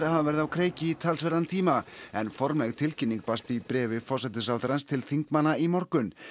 hafa verið á kreiki í talsverðan tíma en formleg tilkynning barst í bréfi forsætisráðherrans til þingmanna í morgun